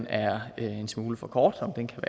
er en smule for kort om den kan